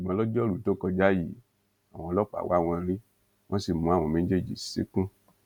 ṣùgbọn lojoruu tó kọjá yìí àwọn ọlọpàá wá wọn rí wọn sì mú àwọn méjèèjì ṣìnkún